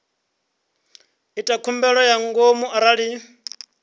ita khumbelo ya ngomu arali